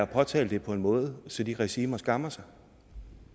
påtale det på en måde så de regimer skammer sig